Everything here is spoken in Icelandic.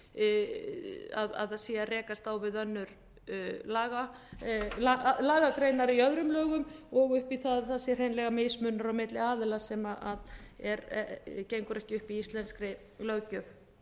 í það að þeir séu að það sé að rekast á við lagagreinar í öðrum lögum og upp í það að það sé hreinlega mismunur á milli aðila sem gengur ekki upp í íslenskri löggjöf